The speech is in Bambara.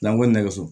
N'an ko nɛgɛso